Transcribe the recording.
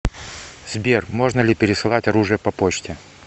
сбер можно ли пересылать оружие по почте